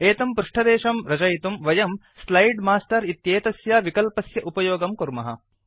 एतं पृष्ठदेशं रचयितुं वयं स्लाइड् मास्टर् इत्येतस्य विकल्पस्य उपयोगं कुर्मः